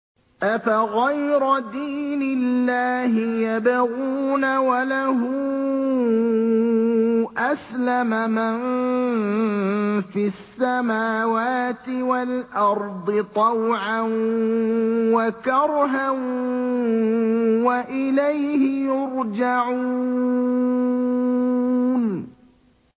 أَفَغَيْرَ دِينِ اللَّهِ يَبْغُونَ وَلَهُ أَسْلَمَ مَن فِي السَّمَاوَاتِ وَالْأَرْضِ طَوْعًا وَكَرْهًا وَإِلَيْهِ يُرْجَعُونَ